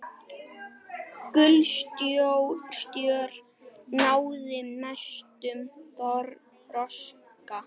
Gulstör náði mestum þroska.